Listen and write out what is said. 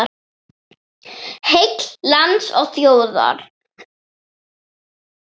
Heill lands og þjóðar.